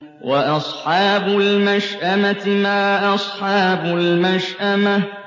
وَأَصْحَابُ الْمَشْأَمَةِ مَا أَصْحَابُ الْمَشْأَمَةِ